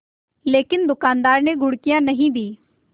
लेकिन दुकानदार ने घुड़कियाँ नहीं दीं